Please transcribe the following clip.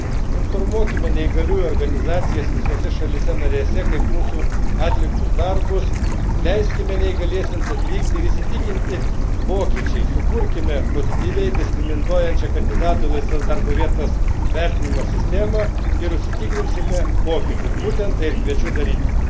Pritaikykime pastatus, įrengime tinkamas darbo vietas, informuokime neįgaliųjų organizacijas visose šalyse narėse apie mūsų atliktus darbus, leiskime neįgaliesiems atvykti ir įsitikinti pokyčiais, sukurkime pozityviai diskriminuojančias kandidatui į laisvas darbo vietas vertinimo sistemas ir užsitikrinsime pokyčius.